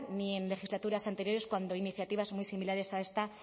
ni en legislaturas anteriores cuando iniciativas muy similares a esta